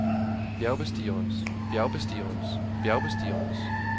bjergbestigerens bjergbestigerens bjergbestigerens